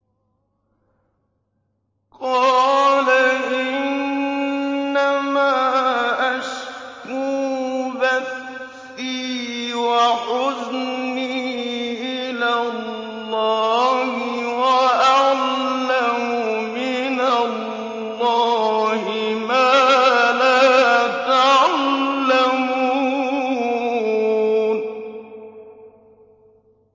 قَالَ إِنَّمَا أَشْكُو بَثِّي وَحُزْنِي إِلَى اللَّهِ وَأَعْلَمُ مِنَ اللَّهِ مَا لَا تَعْلَمُونَ